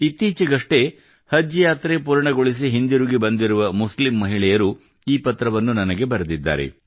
ಇತ್ತೀಚೆಗಷ್ಟೇ ಹಜ್ ಯಾತ್ರೆ ಪೂರ್ಣಗೊಳಿಸಿ ಹಿಂದಿರುಗಿ ಬಂದಿರುವ ಮುಸ್ಲಿಂ ಮಹಿಳೆಯರು ಈ ಪತ್ರವನ್ನು ನನಗೆ ಬರೆದಿದ್ದಾರೆ